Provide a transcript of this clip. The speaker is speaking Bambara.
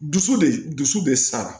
Dusu de du dusu de sara